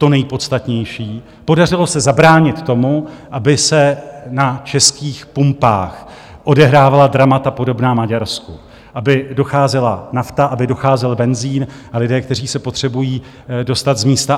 To nejpodstatnější - podařilo se zabránit tomu, aby se na českých pumpách odehrávala dramata podobná Maďarsku, aby docházela nafta, aby docházel benzin a lidé, kteří se potřebují dostat z místa